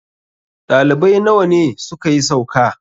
ɗalibai nawa ne suka yi sauka?